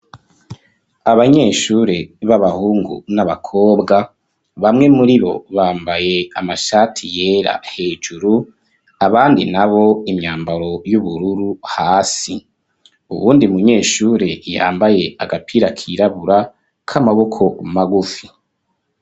Abanyeshure b'abahungu n'abakobwa bamwe muribo bambaye amashati yera hejuru, abandi nabo imyambaro y'ubururu hasi .Uwundi munyeshure yambaye agapira kirabura k'amaboko magufi.